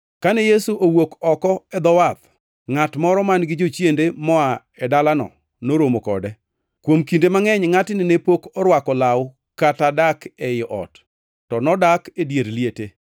Kane Yesu owuok oko e dho wath, ngʼat moro man-gi jochiende moa e dalano noromo kode, kuom kinde mangʼeny ngʼatni ne pok orwako law kata dak ei ot, to nodak e dier liete.